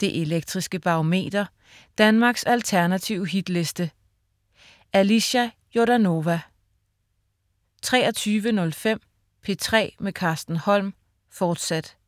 Det Elektriske Barometer. Danmarks alternative hitliste. Alicia Jordanova 23.05 P3 med Carsten Holm, fortsat